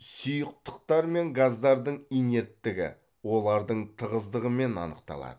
сұйықтықтар мен газдардың инерттігі олардың тығыздығымен анықталады